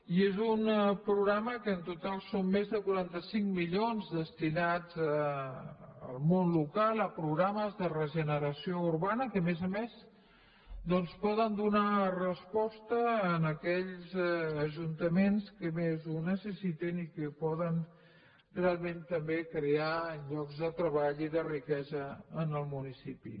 i és un programa que en total són més de quaranta cinc milions destinats al món local a programes de regeneració urbana que a més a més doncs poden donar resposta a aquells ajuntaments que més ho necessiten i que poden realment també crear llocs de treball i de riquesa en el municipi